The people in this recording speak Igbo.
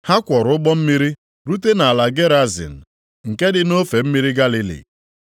Ha kwọrọ ụgbọ mmiri rute nʼala Gerazin, + 8:26 Nʼakwụkwọ ochie ụfọdụ, ị nwere ike hụ Gadarin. nke dị nʼofe mmiri Galili.